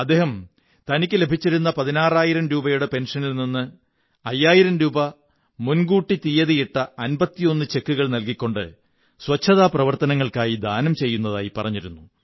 അദ്ദേഹം തനിക്കു ലഭിച്ചിരുന്ന പതിനാറായിരം രൂപ പെന്ഷrനിൽ നിന്ന് അയ്യായിരം രൂപ മുന്കൂരട്ടി തീയതിയിട്ട 51 ചെക്കുകൾ നല്കിക്കൊണ്ട് ശുചിത്വ പ്രവര്ത്തനനങ്ങള്ക്കാ യി ദാനം ചെയ്യുന്നതായി പറഞ്ഞിരുന്നു